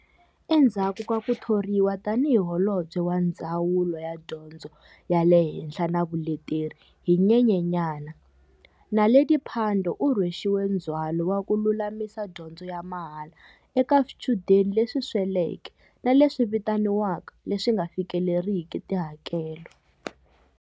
Endzhaku ka ku thoriwa tanihi Holobye wa Ndzawulo ya Dyondzo ya le Henhla na Vuleteri hi Nyenyanyana, Naledi Pandor u rhwexiwe ndzhwalo wa ku lulamisa dyondzo ya mahala eka swichudeni leswi sweleke na leswi vitaniwaka leswi nga fikeleriki tihakelo.